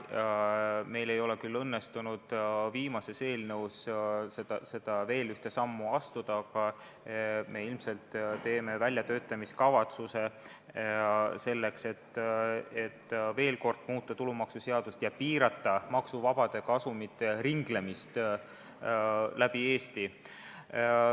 Meil küll ei õnnestunud viimases eelnõus seda veel ühte sammu astuda, aga me ilmselt koostame väljatöötamiskavatsuse selleks, et veel kord muuta tulumaksuseadust ja piirata maksuvabade kasumite ringlemist läbi Eesti.